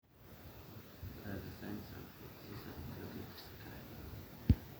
kakua irbulabol le moyian e Lubinsky?